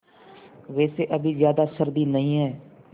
वैसे अभी ज़्यादा सर्दी नहीं है